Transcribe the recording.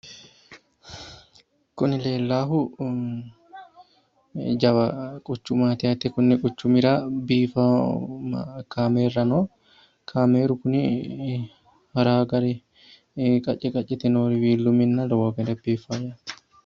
Kuni leellaahu jawa quchumaati yaate. Konni quchumira biiffawo kaameerra no. Kaameeru kuni harawo gari qacce qaccete noori wiillu minna lowo geeshsha biiffino.